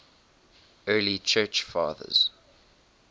early church fathers